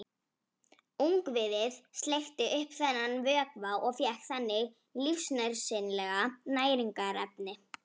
Ungviðið sleikti upp þennan vökva og fékk þannig lífsnauðsynleg næringarefni.